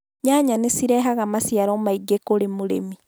Nyanya nĩ cirehaga maciaro maingĩ kũrĩ mũrĩmi